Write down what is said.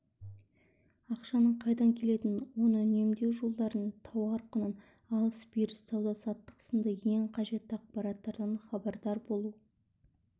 ақшаның қайдан келетінін оны үнемдеу жолдарын тауар құнын алыс-беріс сауда-саттық сынды ең қажетті ақпараттардан хабардар болу